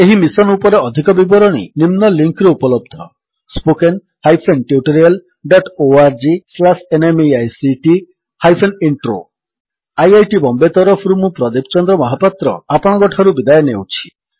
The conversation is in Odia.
ଏହି ମିଶନ୍ ଉପରେ ଅଧିକ ବିବରଣୀ ନିମ୍ନ ଲିଙ୍କ୍ ରେ ଉପଲବ୍ଧ spoken hyphen tutorial dot ORG slash NMEICT hyphen intro spoken tutorialorgnmeict intro IIT Bombay ତରଫରୁ ମୁଁ ପ୍ରଦୀପ ଚନ୍ଦ୍ର ମହାପାତ୍ର ଆପଣଙ୍କଠାରୁ ବିଦାୟ ନେଉଛି